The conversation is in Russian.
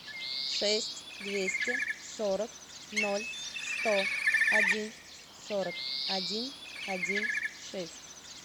шесть двести сорок ноль сто один сорок один один шесть